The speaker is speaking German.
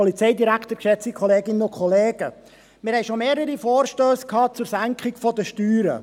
Wir hatten schon mehrere Vorstösse zur Senkung von Steuern.